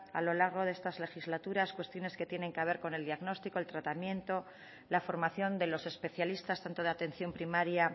a lo largo de estas legislaturas cuestiones que tienen que ver con el diagnóstico el tratamiento la formación de los especialistas tanto de atención primaria